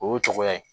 O y'o cogoya ye